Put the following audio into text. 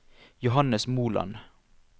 Johannes Moland